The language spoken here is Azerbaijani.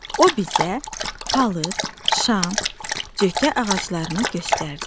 O bizə palıd, şam, cökə ağaclarını göstərdi.